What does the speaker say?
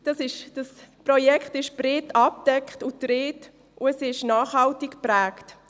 Das Projekt ist breit abgedeckt und getragen und es ist nachhaltig geprägt.